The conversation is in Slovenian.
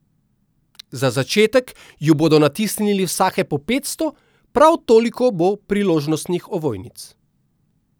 Za začetek ju bodo natisnili vsake po petsto, prav toliko bo priložnostnih ovojnic.